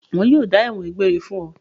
Wọn yóò dájọ́ ẹ̀wọ̀n egbére fún ọ.